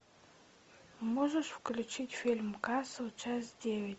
можешь включить фильм касл часть девять